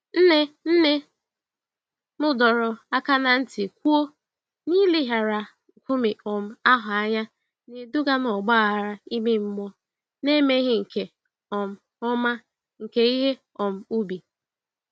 Nne nne m dọrọ aka ná ntị kwuo, n'ileghara nkume um ahụ anya na-eduga n'ọgba aghara ime mmụọ na emeghị nke um ọma nke ihe um ubi.